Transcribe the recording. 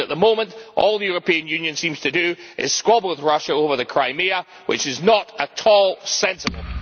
At the moment, all the European Union seems to do is squabble with Russia over Crimea, which is not at all sensible.